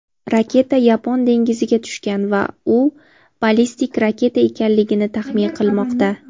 raketa Yapon dengiziga tushgan va u ballistik raketa ekanligini taxmin qilmoqda.